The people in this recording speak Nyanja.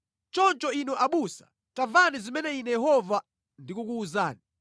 “ ‘Choncho Inu abusa, tamvani zimene Ine Yehova ndikukuwuzani.